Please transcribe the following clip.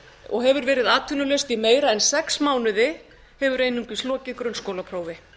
og hefur verið atvinnulaust í meira en sex mánuði hefur einungis lokið grunnskólaprófi